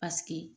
Paseke